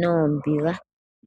noombiga.